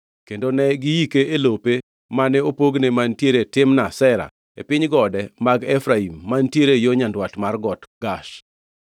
Kendo ne giike e lope mane opogne mantiere Timnath Sera e piny gode mag Efraim, mantiere yo nyandwat mar Got Gash.